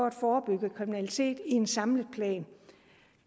at forebygge kriminalitet i en samlet plan